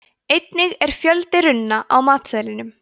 einnig er fjöldi runna á matseðlinum